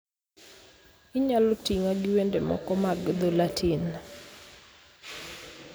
Inyalo ting'a gi wende moko mag dho Latin.